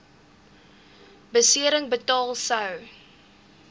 besering betaal sou